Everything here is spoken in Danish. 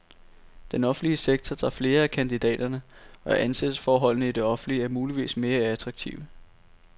Den offentlige sektor tager flere af kandidaterne, og ansættelsesforholdene i det offentlige er muligvis mere attraktive.